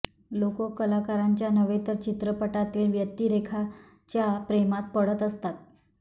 लोक कलाकारांच्या नव्हे तर चित्रपटातील व्यक्तिरेखांच्या प्रेमात पडत असतात